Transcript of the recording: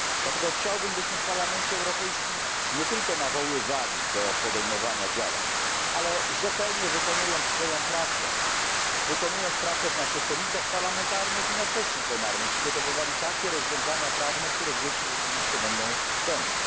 Dlatego chciałbym, byśmy w Parlamencie Europejskim nie tylko nawoływali do podejmowania działań, ale rzetelnie wykonując swoją pracę, wykonując pracę w naszych komisjach parlamentarnych i na sesji plenarnej, przygotowywali takie rozwiązania prawne, które dzieci rzeczywiście będą chronić.